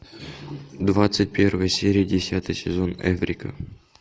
двадцать первая серия десятый сезон эврика